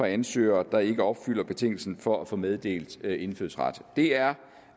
ansøgere der ikke opfylder betingelsen for at få meddelt indfødsret det er